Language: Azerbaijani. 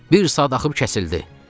"Bir saat axıb kəsildi."